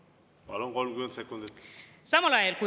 Veel 30 sekundit, palun!